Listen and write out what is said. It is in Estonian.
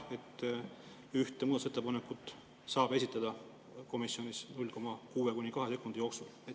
See, et ühte muudatusettepanekut saab komisjonis esitleda 0,6–2 sekundi jooksul?